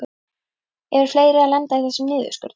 Eru fleiri að lenda í þessum niðurskurði?